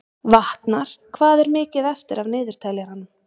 Vatnar, hvað er mikið eftir af niðurteljaranum?